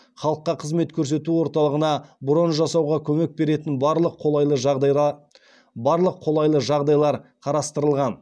халыққа қызмет көрсету орталығына брон жасауға көмек беретін барлық қолайлы жағдайлар қарастырылған